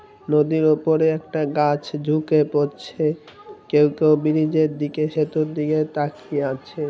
নদীর ওপরে একটা গাছ ঝুকে পড়ছে। কেউ কেউ ব্রিজের দিকে সেতুর দিকে তাকিয়ে আছে।